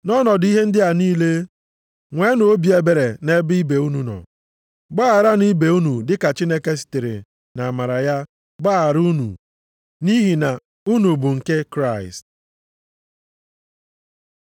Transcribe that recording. Nʼọnọdụ ihe ndị a niile, nweenụ obi ebere nʼebe ibe unu nọ. Gbagharanụ ibe unu dịka Chineke sitere nʼamara ya gbaghara unu nʼihi na unu bụ nke Kraịst.